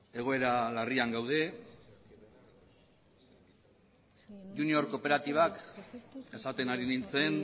egoera larrian gaude junior kooperatibak esaten ari nintzen